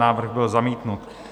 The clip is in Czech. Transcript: Návrh byl zamítnut.